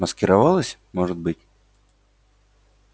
маскировалась может быть